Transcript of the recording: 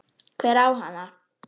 Hver á hana?